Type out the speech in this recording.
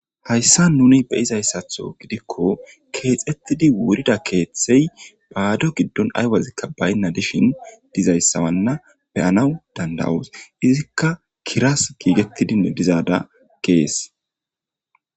Hayisan nuni be izayssatho gidikko keexettidi wurida kethey baado giddon aywazikka baynna dishin dizayssawanna beyanaw danda'os izikka kiras giigettidinne dizaada kees